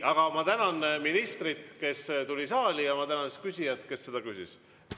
Aga ma tänan ministrit, kes tuli saali, ja ma tänan küsijat, kes seda küsis.